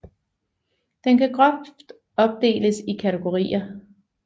Den kan groft opdeles i kategorier